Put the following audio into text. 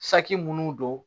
Saki minnu don